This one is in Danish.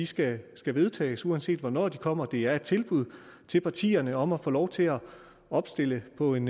skal skal vedtages uanset hvornår de kommer det er et tilbud til partierne om at få lov til at opstille på en